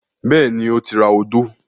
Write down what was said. Bẹ́ẹ̀ni, ó ti ra odó.